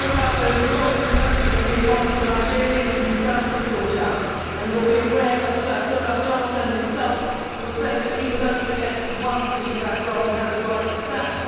I think the issue about the revolving presidency is one for the Nigerians themselves to sort out. You will be aware that Goodluck Jonathan himself will say that he was only elected once into that role and has the right to stand.